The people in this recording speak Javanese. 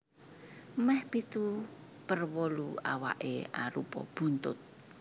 Mèh pitu per wolu awaké arupa buntut